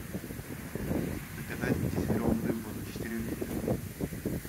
заказать газированную воду четыре литра